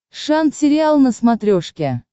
шант сериал на смотрешке